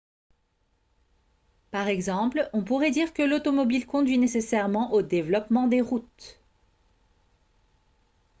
par exemple on pourrait dire que l'automobile conduit nécessairement au développement des routes